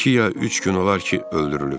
İki ya üç gün olar ki, öldürülüb."